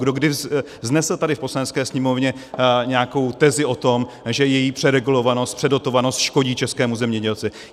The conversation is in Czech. Kdo kdy vznesl tady v Poslanecké sněmovně nějakou tezi o tom, že její přeregulovanost, předotovanost škodí českému zemědělci?